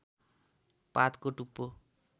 पातको टुप्पो